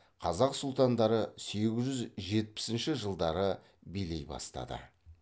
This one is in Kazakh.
қазақ сұлтандары сегіз жүз жетпісінші жылдары билей бастады